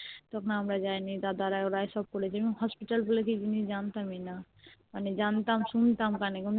তখন আমরা যাইনি দাদারা ওরাই সব করেছে মানে Hospital বলে কি জিনিস জানতামই না মানে জানতাম শুনতাম কানে